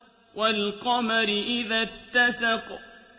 وَالْقَمَرِ إِذَا اتَّسَقَ